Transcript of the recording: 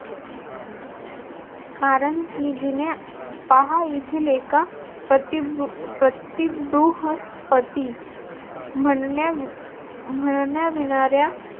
कारण की जिने पहा येथील एका प्रति बृहस्पती म्हणण्या म्हणण्याविणाऱ्या